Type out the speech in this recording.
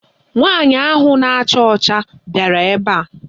Nwaanyị ahụ na-acha ọcha bịara ebe a.